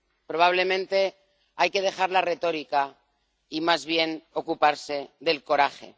Probablemente haya que dejar la retórica y más bien ocuparse del coraje.